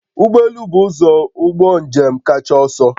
Ụgbọ elu bụ ụzọ ụgbọ njem kacha ọsọ